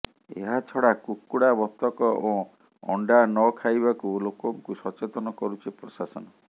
ଏହା ଛଡା କୁକୁଡା ବତକ ଓ ଅଣ୍ଡା ନଖାଇବାକୁ ଲୋକଙ୍କୁ ସଚେତନ କରୁଛି ପ୍ରଶାସନ